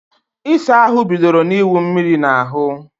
Ịsa ahụ bidoro na iwu mmírí na ahú